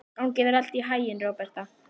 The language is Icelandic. Gangi þér allt í haginn, Róberta.